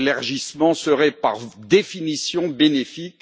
L'élargissement serait par définition bénéfique.